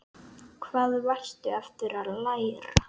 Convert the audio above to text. Hvað varstu aftur að læra?